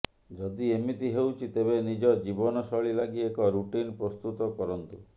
ଯଦି ଏମିତି ହେଉଛି ତେବେ ନିଜ ଜିବନଶୈଳୀ ଲାଗି ଏକ ରୁଟିନ୍ ପ୍ରସ୍ତୁତ କରନ୍ତୁ